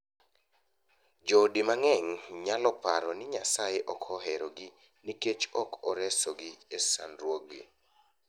Joodi mang’eny nyalo paro ni Nyasaye ok oherogi nikech ok oresogi e sandruokgi.